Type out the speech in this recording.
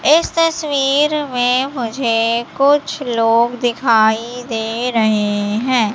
इस तस्वीर में मुझे कुछ लोग दिखाई दे रहे हैं।